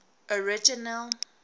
original